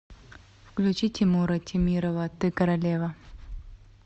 включи тимура темирова ты королева